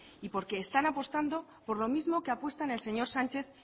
y porque están apostando por lo mismo que apuestan el señor sánchez